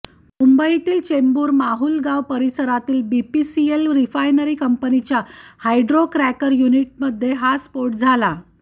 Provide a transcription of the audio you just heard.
मुंबईतील चेंबूर माहुलगाव परिसरातील BPCL refinery कंपनीच्या हाॅड्रो क्रॅकर युनिटमध्ये हा स्फोट झाला होता